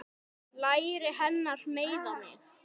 Læri hennar meiða mig.